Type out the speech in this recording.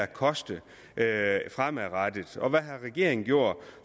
koste fremadrettet og hvad har regeringen gjort